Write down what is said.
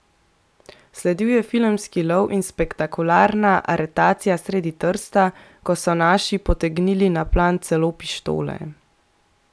Sledil je filmski lov in spektakularna aretacija sredi Trsta, ko so naši potegnili na plan celo pištole!